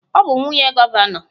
Ọ bụ nwunye gọvanọ.